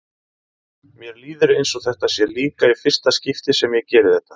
Mér líður eins og þetta sé líka í fyrsta skipti sem ég geri þetta.